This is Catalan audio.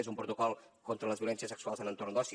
és un protocol contra les violències sexuals en entorns d’oci